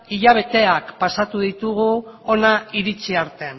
hilabeteak pasatu ditugu hona iritsi arte